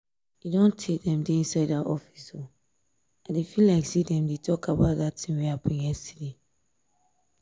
e don tay dem dey inside dat office. i feel say dem dey talk about dat thing wey happen yesterday